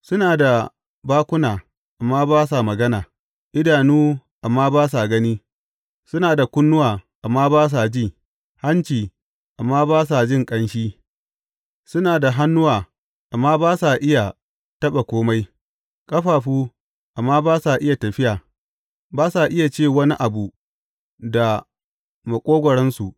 Suna da bakuna, amma ba sa magana, idanu, amma ba sa gani; suna da kunnuwa, amma ba sa ji, hanci, amma ba sa jin ƙanshi suna da hannuwa, amma ba sa iya taɓa kome, ƙafafu, amma ba sa iya tafiya; ba sa iya ce wani abu da maƙogwaronsu.